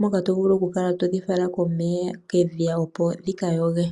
moka tokala todhi fala kedhiya opo dhikayoge.